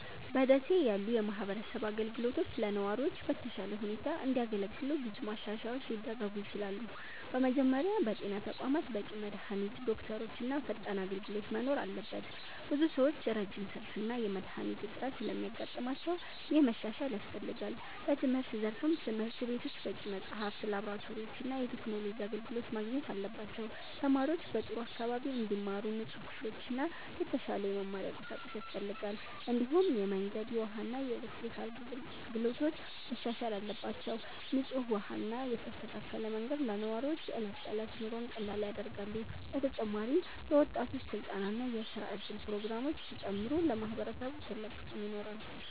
በ ደሴ ያሉ የማህበረሰብ አገልግሎቶች ለነዋሪዎች በተሻለ ሁኔታ እንዲያገለግሉ ብዙ ማሻሻያዎች ሊደረጉ ይችላሉ። በመጀመሪያ በጤና ተቋማት በቂ መድሃኒት፣ ዶክተሮች እና ፈጣን አገልግሎት መኖር አለበት። ብዙ ሰዎች ረጅም ሰልፍ እና የመድሃኒት እጥረት ስለሚያጋጥማቸው ይህ መሻሻል ያስፈልጋል። በትምህርት ዘርፍም ትምህርት ቤቶች በቂ መጽሐፍት፣ ላብራቶሪዎች እና የቴክኖሎጂ አገልግሎት ማግኘት አለባቸው። ተማሪዎች በጥሩ አካባቢ እንዲማሩ ንጹህ ክፍሎችና የተሻለ የመማሪያ ቁሳቁስ ያስፈልጋል። እንዲሁም የመንገድ፣ የውሃ እና የኤሌክትሪክ አገልግሎቶች መሻሻል አለባቸው። ንጹህ ውሃ እና የተስተካከለ መንገድ ለነዋሪዎች የዕለት ተዕለት ኑሮን ቀላል ያደርጋሉ። በተጨማሪም የወጣቶች ስልጠና እና የስራ እድል ፕሮግራሞች ቢጨምሩ ለማህበረሰቡ ትልቅ ጥቅም ይኖራል።